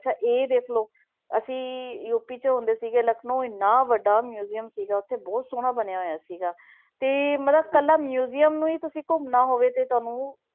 ਅੱਛਾ ਇਹ ਦੇਖ ਲਓ ਅਸੀਂ ਯੂਪੀ 'ਚ ਹੁੰਦੇ ਸੀਗੇ, ਲਖਨਊਂ ਇੰਨਾ ਵੱਡਾ museum ਸੀਗਾ, ਉੱਥੇ ਬਹੁਤ ਸੋਹਣਾ ਬਣਿਆ ਹੋਇਆ ਸੀਗਾ, ਤੇ ਮਤਲਬ ਇਕੱਲਾ museum ਨੂੰ ਹੀ ਤੁਸੀਂ ਘੁੰਮਣਾ ਹੋਵੇ ਤੇ ਤੁਹਾਨੂੰ